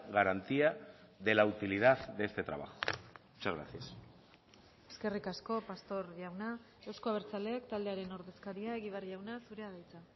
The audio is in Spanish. garantía de la utilidad de este trabajo muchas gracias eskerrik asko pastor jauna euzko abertzaleak taldearen ordezkaria egibar jauna zurea da hitza